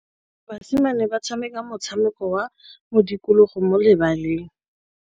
Basimane ba tshameka motshameko wa modikologô mo lebaleng.